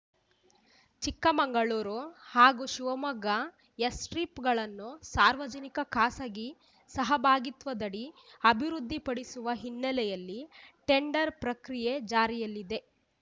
ಚಿಕ್ಕಮಗಳೂರು ಹಾಗೂ ಶಿವಮೊಗ್ಗ ಏಸ್ ಸ್ಟ್ರಿಪ್‌ಗಳನ್ನು ಸಾರ್ವಜನಿಕ ಖಾಸಗಿ ಸಹಭಾಗಿತ್ವದಡಿ ಅಭಿವೃದ್ಧಿಪಡಿಸುವ ಹಿನ್ನೆಲೆಯಲ್ಲಿ ಟೆಂಡರ್ ಪ್ರಕ್ರಿಯೆ ಜಾರಿಯಲ್ಲಿದೆ